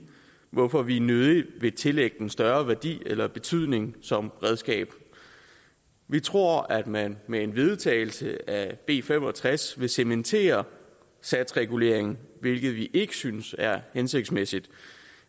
hvorfor vi nødig vil tillægge den større værdi eller betydning som redskab vi tror at man med en vedtagelse af b fem og tres vil cementere satsreguleringen hvilket vi ikke synes er hensigtsmæssigt og